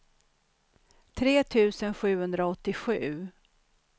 tre tusen sjuhundraåttiosju